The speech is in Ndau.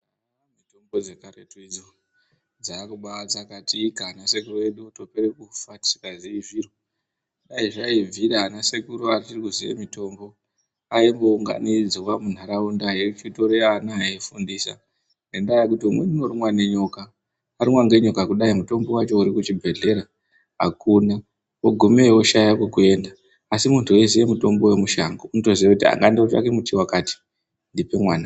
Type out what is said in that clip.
Haa mitombo dzekaretu idzi dzakubatsakatika ana sekuru edu otopere kufa tisikazii zviro. Dai zvaibvira ana sekuru achiri kuziya mitombo aimbounganidzwa munharaunda eitorw ana eifundisa ngendaa yekuti umweni unorumwa nenyoka. Arumwa ngenyoka kudai mutombo wacho uri kuchibhehlera akuna ogumeyo oshaya kwekuenda asi muntu eiziya mutombo wemushango unotoziya kuti aa ngandotsvaka muti wakati ndipe mwana.